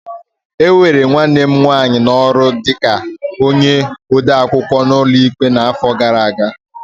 E were nwanne m nwanyị n'ọrụ dị ka onye odeakwụkwọ n'ụlọ ikpe n'afọ gara aga.